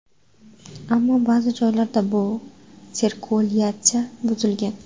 Ammo ba’zi joylarda bu sirkulyatsiya buzilgan.